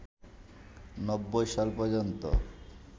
৯০ সাল পর্যন্ত